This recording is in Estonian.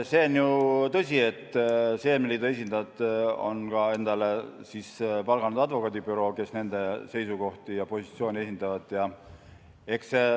See on ju tõsi, et seemneliidu esindajad on palganud endale ka advokaadibüroo, kes nende seisukohti ja positsioone esindab.